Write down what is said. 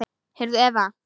Heyrðu, Eva.